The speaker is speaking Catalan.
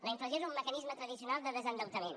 la inflació és un mecanisme tradicional de desendeutament